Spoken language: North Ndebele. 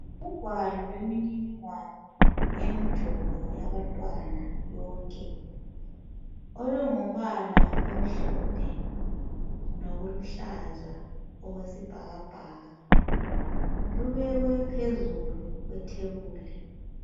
Ungwalo lomniningwane yomjovo yabantwana bonke, olungumbala omhlophe loluhlaza okwesibhakabhaka lubekwe phezulu kwethebuli.